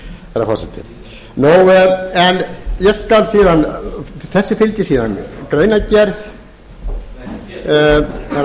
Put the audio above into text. fjármálakerfið sé siðvætt herra forseti þessu fylgir síðan greinargerð forseti